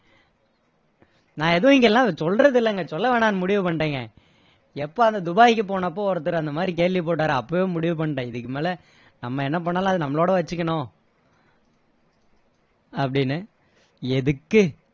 நான் எதுவும் இங்க எல்லாம் சொல்றது இல்லைங்க சொல்ல வேண்டாம்னு முடிவு பண்ணிட்டேங்க எப்போ அந்த துபாய்க்கு போனப்போ ஒருத்தர் அந்த மாதிரி கேள்வி போட்டாரோ அப்போவே முடிவு பண்ணிட்டேன் இதுக்கு மேல நம்ம என்ன பண்ணாலும் அதை நம்மளோட வச்சுக்கணும் அப்படின்னு எதுக்கு